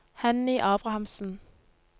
Henny Abrahamsen